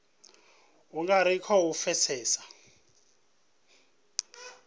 u nga ri khou pfesesa